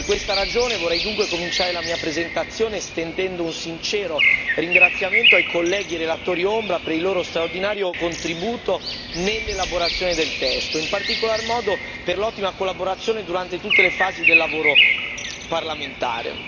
Per questa ragione vorrei dunque cominciare la mia presentazione, estendendo un sincero ringraziamento ai colleghi relatori ombra, per il loro straordinario contributo nell'elaborazione del testo, in particolar modo per l'ottima collaborazione durante tutte le fasi del lavoro parlamentare.